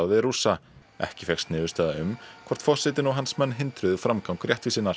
við Rússa ekki fékkst niðurstaða um hvort forsetinn og hans menn hindruðu framgang réttvísinnar